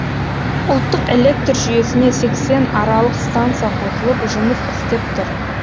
ұлттық электр жүйесіне сексен аралық станция қосылып жұмыс істеп тұр